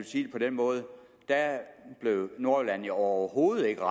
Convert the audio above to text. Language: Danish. sige det på den måde at nordjylland overhovedet ikke